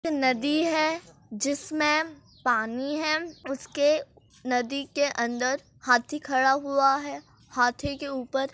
नदी है। जिसमे पानी है। उसके नदी के अंदर हाथी खड़ा हुआ है। हाथी के ऊपर--